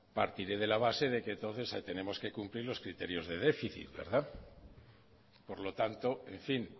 partiré de la base de que entonces todos tienen que cumplir los criterios de déficit verdad por lo tanto en fin